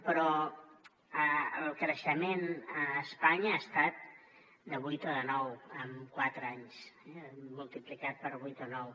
però el creixement a espanya ha estat de vuit o de nou en quatre anys eh multiplicat per vuit o nou